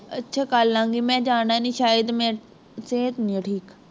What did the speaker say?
ਅੱਛਾ ਕਰ ਲਾਂ ਗੀ, ਮੈਂ ਜਾਣਾ ਨਹੀਂ ਸ਼ਾਇਦ, ਮੇਰੀ ਸਿਹਤ ਨਹੀਂਉਂ ਠੀਕ